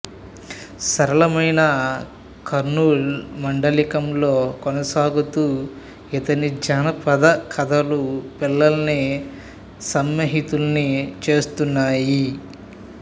సరళమైన కర్నూలు మాండలికంలో కొనసాగుతూ ఇతని జానపద కథలు పిల్లల్ని సమ్మోహితుల్ని చేస్తున్నాయి